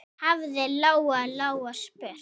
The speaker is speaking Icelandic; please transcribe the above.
hafði Lóa-Lóa spurt.